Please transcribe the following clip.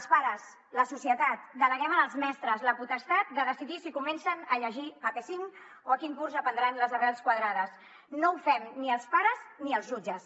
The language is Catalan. els pares la societat deleguem en els mestres la potestat de decidir si comencen a llegir a p5 o a quin curs aprendran les arrels quadrades no ho fem ni els pares ni els jutges